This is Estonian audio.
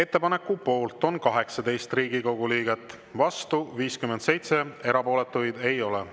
Ettepaneku poolt on 18 Riigikogu liiget, vastu 57, erapooletuid ei ole.